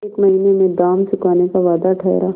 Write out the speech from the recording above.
एक महीने में दाम चुकाने का वादा ठहरा